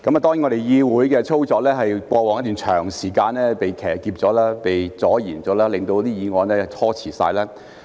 當然，議會的操作在過往一段長時間被騎劫、被阻延，令議案被拖遲。